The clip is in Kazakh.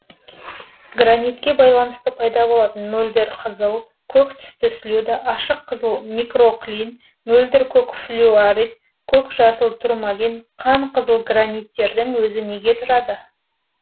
гранитке байланысты пайда болатын мөлдір қызыл көк түсті слюда ашық кызыл микроклин мөлдір көк флюорит көк жасыл турмалин қан қызыл граниттердің өзі неге тұрады